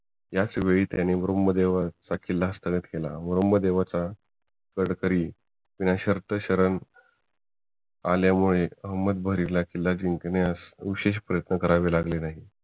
ह्याचवेळी त्यांनी ब्रम्हदेवगड हा किल्ला हस्तगीत केला व ब्रम्हदेवचा गडकरी बिनशर्त शरण आल्यामुळे अहमदभरी ला किल्ला जिंकण्यास विशेष प्रयत्न करावे लागले नाहीत